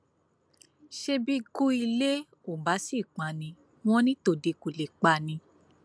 ṣé bí ikú ilé ò bá sì pa ni wọn ní tòde kó lè pa ni